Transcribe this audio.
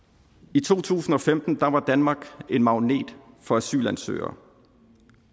i to tusind og femten var danmark en magnet for asylansøgere